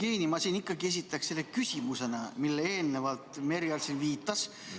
Hea, Jevgeni, ma siin esitaks selle küsimusena, millele eelnevalt Merry Aart siin viitas.